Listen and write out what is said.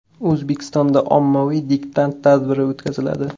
O‘zbekistonda ommaviy diktant tadbiri o‘tkaziladi.